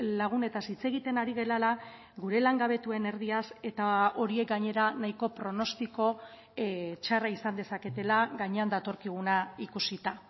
lagunetaz hitz egiten ari garela gure langabetuen erdiaz eta horiek gainera nahiko pronostiko txarra izan dezaketela gainean datorkiguna ikusita